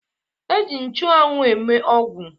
E ji nchụanwụ eme ọgwụ